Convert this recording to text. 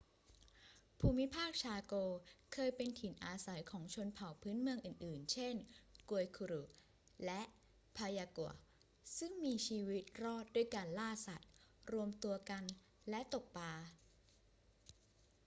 ภูมิภาคชาโกเคยเป็นถิ่นอาศัยของชนเผ่าพื้นเมืองอื่น ๆ เช่น guaycurú และ payaguá ซึ่งมีชีวิตรอดด้วยการล่าสัตว์ รวมตัวกันและตกปลา